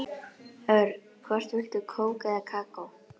Örn, hvort viltu kók eða kakó?